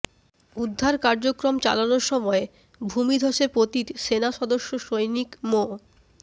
উদ্ধার কার্যক্রম চালানোর সময় ভূমিধসে পতিত সেনাসদস্য সৈনিক মো